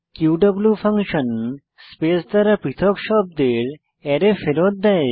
Q function space দ্বারা পৃথক শব্দের অ্যারে ফেরত দেয়